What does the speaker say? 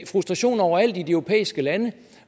frustrationer overalt i de europæiske lande